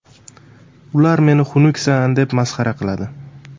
Ular meni xunuksan deb masxara qiladi.